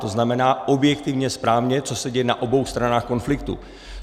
To znamená objektivně, správně, co se děje na obou stranách konfliktu.